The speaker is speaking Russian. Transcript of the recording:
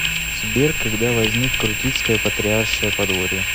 сбер когда возник крутицкое патриаршее подворье